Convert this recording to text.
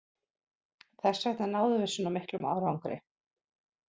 Þessvegna náðum við svona miklum árangri.